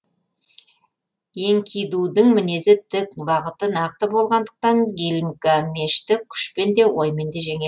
энкидудің мінезі тік бағыты нақты болғандықтан гильгамешті күшпен де оймен де жеңеді